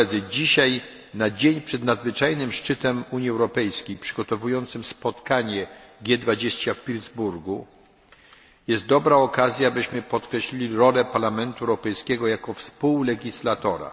Dzisiaj, na dzień przed nadzwyczajnym szczytem Unii Europejskiej, przygotowującym spotkanie G 20 w Pittsburgu, jest dobra okazja, byśmy podkreślili rolę Parlamentu Europejskiego jako współlegislatora.